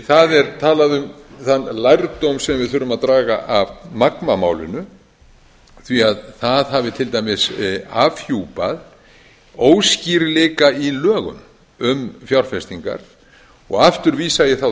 það er talað um þann lærdóm sem við þurfum að draga af magmamálinu því það hafi til dæmis afhjúpað óskýrleika í lögum um fjárfestingar og aftur vísa ég þá